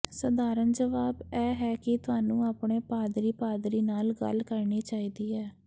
ਸਧਾਰਨ ਜਵਾਬ ਇਹ ਹੈ ਕਿ ਤੁਹਾਨੂੰ ਆਪਣੇ ਪਾਦਰੀ ਪਾਦਰੀ ਨਾਲ ਗੱਲ ਕਰਨੀ ਚਾਹੀਦੀ ਹੈ